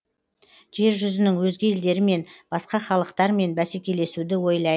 жер жүзінің өзге елдерімен басқа халықтармен бәсекелесуді ойлайды